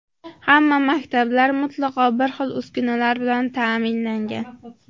Hamma maktablar mutlaqo bir xil uskunalar bilan ta’minlangan.